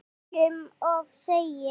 Þó ekki um of segir